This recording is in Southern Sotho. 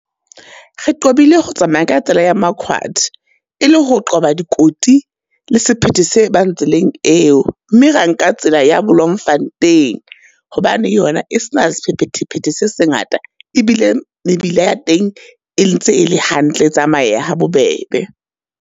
Re qobile ho tsamaya ka tsela ya Marquard, e le ho qoba dikoti le sephethe se bang tseleng eo. Mme ra nka tsela ya Bloemfontein, hobane yona e se na sephethephethe se sengata e bile mebila ya teng e le ntse ele hantle, e tsamayeha ha bobebe.